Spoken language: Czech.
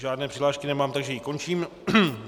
Žádné přihlášky nemám, takže ji končím.